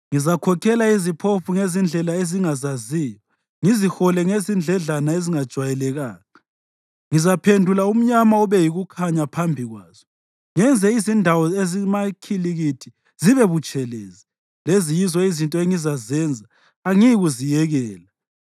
Ngizakhokhela iziphofu ngezindlela ezingazaziyo, ngizihole ngezindledlana ezingajwayelekanga. Ngizaphendula umnyama ube yikukhanya phambi kwazo; ngenze izindawo ezimakhilikithi zibe butshelezi. Lezi yizo izinto engizazenza; angiyikuziyekela.